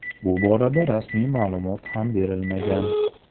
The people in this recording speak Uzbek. Bu borada rasmiy ma’lumot ham berilmagan.